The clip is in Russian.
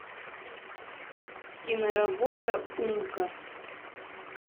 киноработа умка